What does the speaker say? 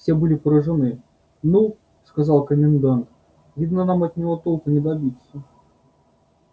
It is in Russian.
все были поражены ну сказал комендант видно нам от него толку не добиться